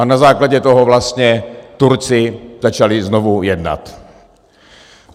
A na základě toho vlastně Turci začali znovu jednat.